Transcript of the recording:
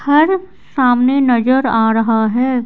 घर सामने नजर आ रहा है।